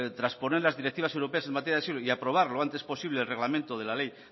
transponer las directivas europeas en materia de asilo y aprobar lo antes posible el reglamento de la ley